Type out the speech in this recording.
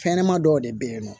Fɛnɲɛnɛma dɔw de bɛ yen nɔ